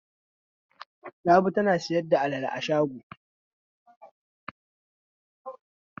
Rabi tana sayar da alale a shago.